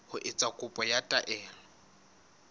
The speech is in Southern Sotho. ho etsa kopo ya taelo